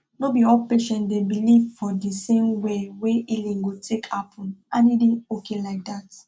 no be all patients dey believe for di same way wey healing go take happen and e dey okay like dat